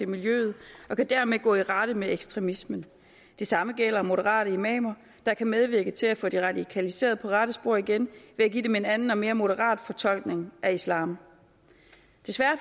miljøet og kan dermed gå i rette med ekstremismen det samme gælder moderate imamer der kan medvirke til at få de radikaliserede på rette spor igen ved at give dem en anden og mere moderat fortolkning af islam desværre